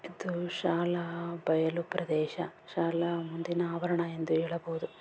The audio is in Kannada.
ಇದು ಶಾಲಾ ಬಯಲು ಪ್ರದೇಶ ಶಾಲಾ ಮುಂದಿನ ಆವರಣ ಎಂದು ಹೇಳಬಹುದು.